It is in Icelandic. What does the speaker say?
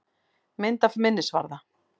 Mynd af minnisvarða.